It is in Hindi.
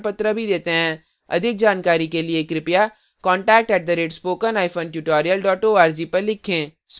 अधिक जानकारी के लिए कृपया contact @spokentutorial org को लिखें